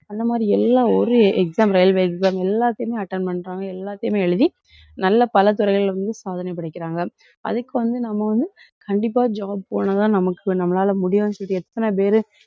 அந்த மாதிரி எல்லாம் ஒரு exam railway exam எல்லாத்தையுமே attend பண்றாங்க. எல்லாத்தையுமே எழுதி நல்ல பல துறைகள்ல வந்து சாதனை படைக்கிறாங்க. அதுக்கு வந்து நம்ம வந்து கண்டிப்பா job போனாதான் நமக்கு நம்மளால முடியும்ன்னு சொல்லிட்டு எத்தனை பேரு,